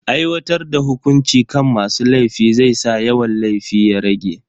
Aiwatar da hukunci kan masu laifi zai sa yawan laifi ya rage.